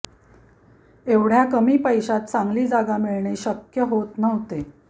एवढ्या कमी पैशात चांगली जागा मिळणे शक्य होत नव्हते